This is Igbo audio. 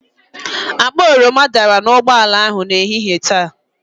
Akpa oroma dara n'ụgbọala ahụ n'ehihie taa.